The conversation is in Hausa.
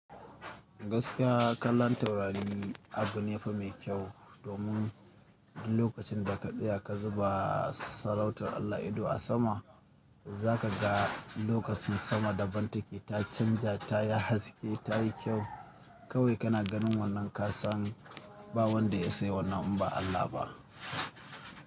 Gaskiya kallon taurari abu ne fa mai kyau domin lokacin da katsaya ka zuba sarautar Allah ido a sama, za ka ga lokacin sama daban take, ta canja, ta yi haske, ta yi kyau. Kawai kana ganin wannan ka san ba wanda ya isa yai wannan abu ba Allah ba.